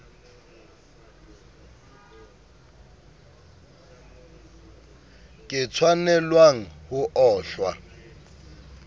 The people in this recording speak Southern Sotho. ke tshwanelwang ho o hlwa